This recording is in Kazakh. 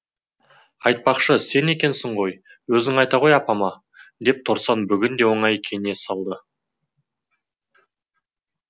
айтпақшы сен екесің ғой өзің айта ғой апама деп торсан бүгін де оңай кене салды